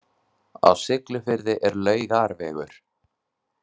Á Siglufirði er Laugarvegur.